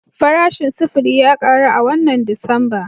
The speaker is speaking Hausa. Farashin sufuri ya karu a wannan Disamba